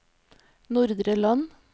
Nordre Land